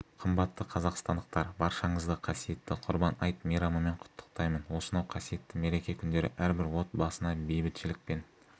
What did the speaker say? қымбатты қазақстандықтар баршаңызды қасиетті құрбан айт мейрамымен құттықтаймын осынау қасиетті мереке күндері әрбір отбасына бейбітшілік пен